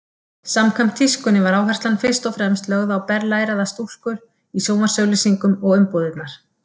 Samkvæmt tískunni var áherslan fyrst og fremst lögð á berlæraðar stúlkur í sjónvarpsauglýsingum og umbúðirnar.